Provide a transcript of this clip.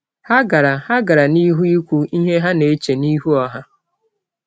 Ha gara Ha gara n’ihu ikwu ihe ha na-eche n’ihu ọha.